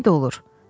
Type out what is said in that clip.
Köməyi də olur.